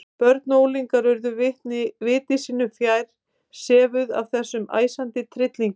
Börn og unglingar urðu viti sínu fjær, sefjuð af þessum æsandi tryllingi.